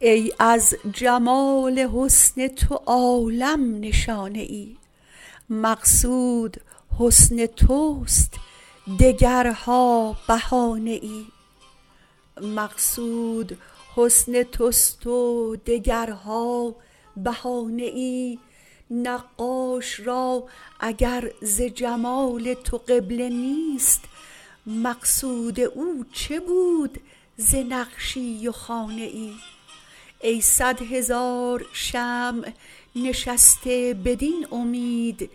ای از جمال حسن تو عالم نشانه ای مقصود حسن توست و دگرها بهانه ای نقاش را اگر ز جمال تو قبله نیست مقصود او چه بود ز نقشی و خانه ای ای صد هزار شمع نشسته بدین امید